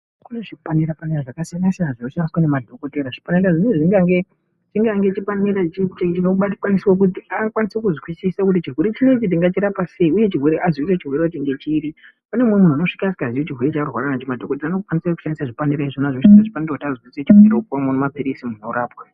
Kune zvipanera zvakasiyana siyana zvinoshandiswa nemadhokodheya chipanera ichi chikange chichishandiswa kuti chirwere chinechi tingachirapa sei Kune muntu anosvika arwara madhokodheya anoshandisa zvipanera izvi nekuti panoda mapirizi muntu orapwa.